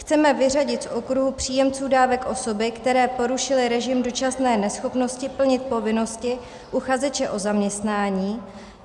Chceme vyřadit z okruhu příjemců dávek osoby, které porušily režim dočasné neschopnosti plnit povinnosti uchazeče o zaměstnání.